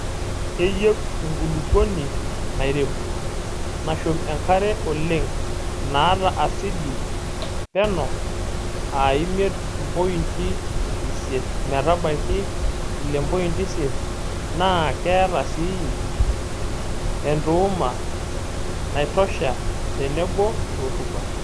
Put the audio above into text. Keyieu enkulukuoni nairebuk; nashum enkare oleng',naata asidi peno aa imiet pointi isiet metabaiki ile pointi isiet naa keeta sii entuuma naitosha tenebo rutuba.